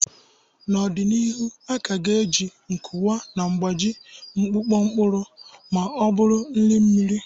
N'ọdịnihu, a ka ga-eji nkuwa na-agbaji mkpụkọ mkpụrụ ma ọ bụ nri mmiri.